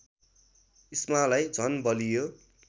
इस्मालाई झन बलियो